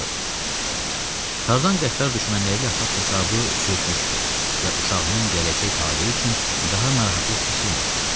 Tarzan qəddar düşmənləri ilə haqq-hesabı çürütmüşdü və uşağının gələcək taleyi üçün daha narahatlıq keçirmirdi.